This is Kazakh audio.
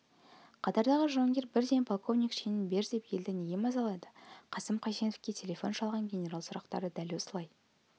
қатардағы жауынгер бірден полковник шенін бер деп елді неге мазалайды қасым қайсеновке телефон шалған генерал сұрақты дәл осылай